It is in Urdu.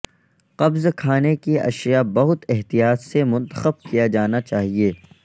قبض کھانے کی اشیاء بہت احتیاط سے منتخب کیا جانا چاہئے